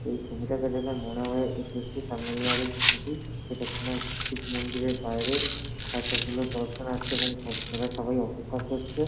এই ছবিটা দেখে যা মনে হয় এটি একটি তামিলনাড়ুর ছবি এটা কোনো শিব মন্দিরের বাইরে এতগুলো দর্শনার্থী এবং ভক্তরা সবাই অপেক্ষা করছেন।